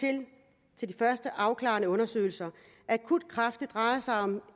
til de første afklarende undersøgelser akut kræft drejer sig om